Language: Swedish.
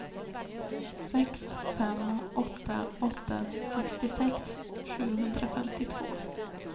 sex fem åtta åtta sextiosex sjuhundrafemtiotvå